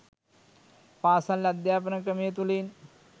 පාසල් අධ්‍යාපන ක්‍රමය තුළින්